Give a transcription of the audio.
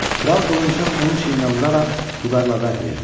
Kral qılıncını onun çiyninə vuraraq vüqarla vəd verdi: